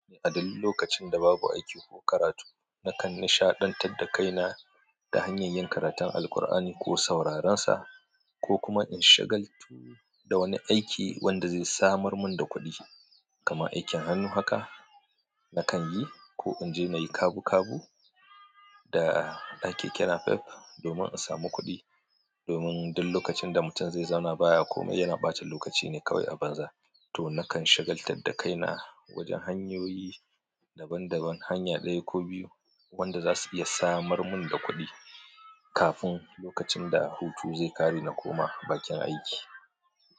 Aduk lokacin da babu aiki ko karatu, nakan nishaɗantar da kaina ta hanyar yin karatun Alqur'ani ko sauraren sa, ko kuma in shagaltu da wani aiki wanda zai samar mun da kuɗi. Kama aikin hannu haka nakan yi, ko in je na yi kabu-kabu da ɗan kekena pep domin in samu kuɗi. Domin duk lokacin da mutum zai zauna baya komai, yana ɓata lokaci ne kawai a banza. To, nakan shagaltad da kaina wajen hanyoyi daban-daban, hanya ɗaya ko biyu wanda za su iya samar mun da kuɗi kafin lokacin da hutu zai ƙare na koma bakin aiki.